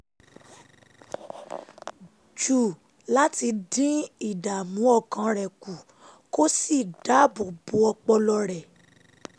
jù láti dín ìdààmú ọkàn rẹ̀ kù kó sì dáàbò bo ọpọlọ rẹ̀